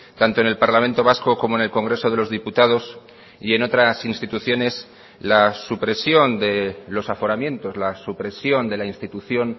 tanto en el parlamento vasco como en el congreso de los diputados y en otras instituciones la supresión de los aforamientos la supresión de la institución